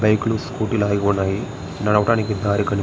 Bike లు scooty ఆగిపోయినాయి. నడవటానికి దారి కని ---